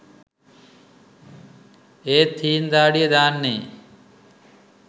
ඒත් හීං දාඩිය දාන්නෙ